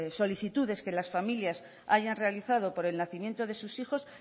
solicitudes que las familias hayan realizado por el nacimiento de sus hijos